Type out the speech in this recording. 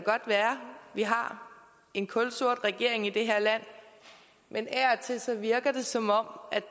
vi har en kulsort regering i det her land men af og til virker det som om